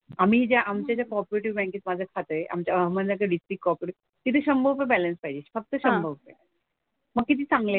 आम्ही ज्या आमच्या ज्या कॉपरेटिव्ह बँकेत माझं एक खातं आहे आमच्या अहमदनगर डिस्ट्रिक्ट कॉपरेटिव्ह तिथे शंभर रुपये बॅलन्स पाहिजे. फक्त शंभर रुपये. मग किती चांगलं आहे ते.